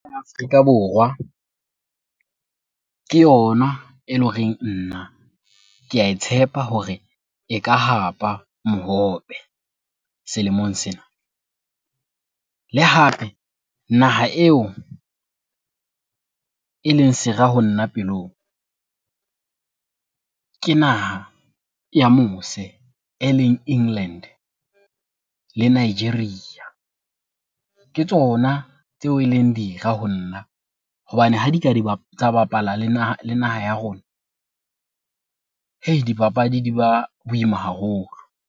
Afrika Borwa ke yona ele horeng nna ke ae tshepa hore e ka hapa mohope selemong sena. Le hape naha eo eleng sera ho nna pelong, ke naha ya mose eleng England le Nigeria. Ke tsona tseo eleng dira ho nna hobane ha di ka tsa bapala le naha ya rona. Heii! dipapadi di ba boima haholo.